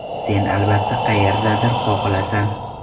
Sen albatta qayerdadir qoqilasan.